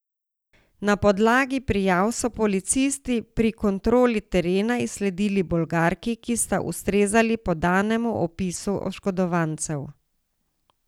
Na podlagi prijav so policisti pri kontroli terena izsledili Bolgarki, ki sta ustrezali podanemu opisu oškodovancev.